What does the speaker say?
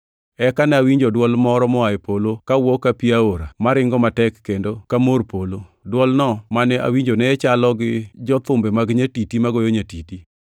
Eka ne awinjo dwol moro moa e polo ka wuo ka pi aora maringo matek kendo ka mor mar polo. Dwolno mane awinjo ne chalo gi jo-thumbe mag nyatiti magoyo nyatiti.